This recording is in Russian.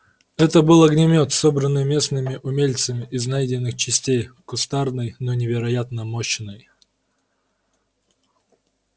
это был огнемёт собранный местными умельцами из найденных частей кустарный но невероятно мощный